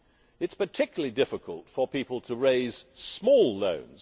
It is particularly difficult for people to raise small loans